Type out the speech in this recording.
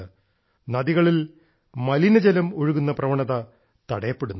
അതിനാൽ നദികളിൽ മലിന ജലം ഒഴുകുന്ന പ്രവണത തടയപ്പെടുന്നു